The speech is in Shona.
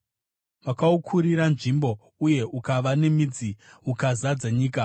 Makaukurira nzvimbo, uye ukava nemidzi ukazadza nyika.